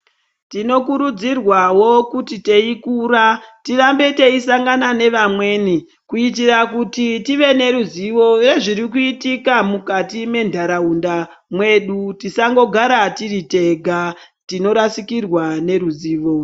Tinokurudzirwawo kuti teikura tirambe teisangana nevamweni kuitira kuti tive neruzivo rwezviri kuitika mukati mentaraunda mwedu tisangogara tiri tega tinorasikirwa neruzivo.